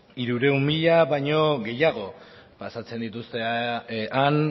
hirurehun mila baino gehiago pasatzen dituzten